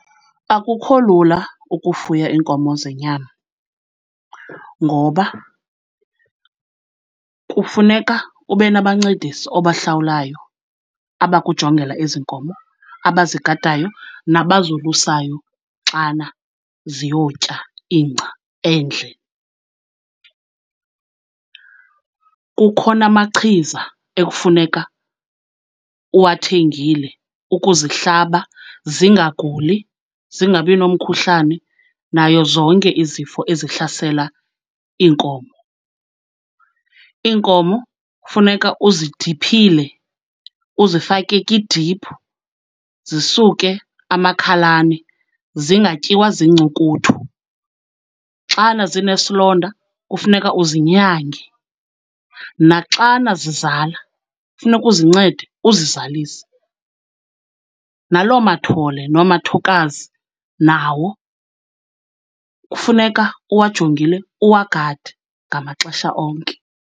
Akukho lula ukufuya iinkomo zenyama ngoba kufuneka ube nabancedisi obahlawulayo abakujongela ezi nkomo, abazigadayo nabazolusayo xana ziyotya ingca endle. Kukho namachiza ekufuneka uwathengile ukuzihlaba zingaguli, zingabi nomkhuhlane nayo zonke izifo ezihlasela iinkomo. Iinkomo kufuneka uzidiphile, uzifake kidiphu zisuke amakhalane, zingatyiwa ziincukuthu. Xana zinesilonda kufuneka uzinyange, naxana zizala kufuneka uzincede uzizalise, naloo mathole nomathokazi nawo kufuneka uwajongile, uwagade ngamaxesha onke.